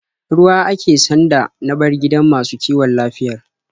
Ruwa ake sanda na bar gidan masu kiwon lafiyar.